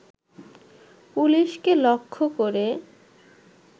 পুলিশকে লক্ষ্য করে